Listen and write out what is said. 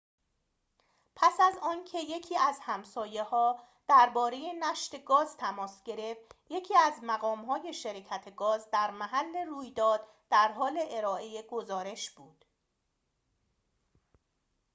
پس از آنکه یکی از همسایه‌ها درباره نشت گاز تماس گرفت یکی از مقام‌های شرکت گاز در محل رویداد در حال ارائه گزارش بود